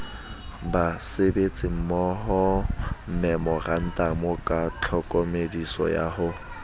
basebetsimmohomemorantamo ka tlhokomediso ya ho